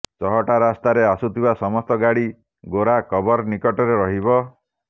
ଚହଟା ରାସ୍ତାରେ ଆସୁଥିବା ସମସ୍ତ ଗାଡି ଗୋରା କବର ନିକଟରେ ରହିବ